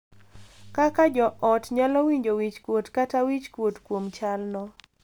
Kaka jo ot nyalo winjo wich kuot kata wich kuot kuom chalno.